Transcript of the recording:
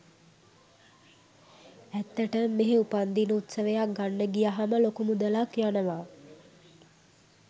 ඇත්තටම මෙහෙ උපන්දින උත්සවයක් ගන්න ගියහම ලොකු මුදලක් යනවා.